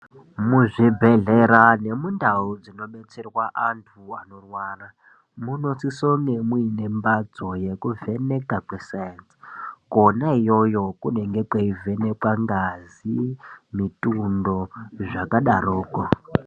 Muzvibhehlera nemundau dzinobetserwa antu anorwara munosise unge muine mbatso yekuvheneka kwesaenzi kwona iyoyo kunonga kweivhenekwa ngazi mitundo zvakadaro ko